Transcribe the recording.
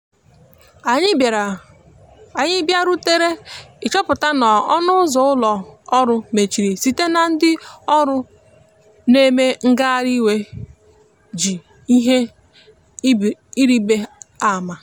anyi bia rutere ị chọpụta na ọnụ ụzọ ụlọ orụ mechịrị site na ndi ọrụ na eme ngahari iwè ji ihe ịrịbe ama.